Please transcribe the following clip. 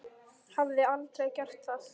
Hafði aldrei gert það.